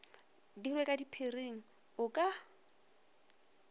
dirwe ka sephiring o ka